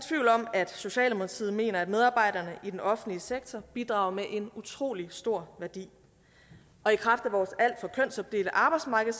at socialdemokratiet mener at medarbejderne i den offentlige sektor bidrager med en utrolig stor værdi og i kraft af vores alt for kønsopdelte arbejdsmarked